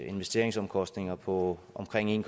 investeringsomkostninger på omkring en